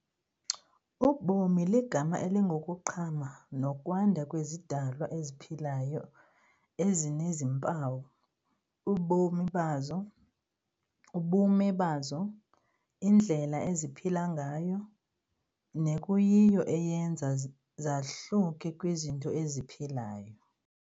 Ubomi ligama elingokuqhama nokwanda kwezidalwa eziphilayo ezinezimpawu, ubume bazo, indlela eziphila ngayo, nekuyiyo eyenza zahluke kwizinto eziphilayo.